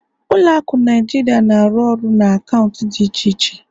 Ụlọ akụ Naijiria na-arụ ọrụ na akaụntụ dị iche iche